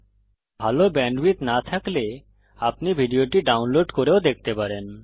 যদি ভাল ব্যান্ডউইডথ না থাকে তাহলে আপনি ভিডিওটি ডাউনলোড করে দেখতে পারেন